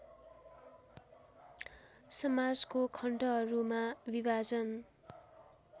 समाजको खण्डहरूमा विभाजन